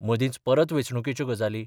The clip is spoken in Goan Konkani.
मदींच परत वेंचणुकेच्यो गजाली.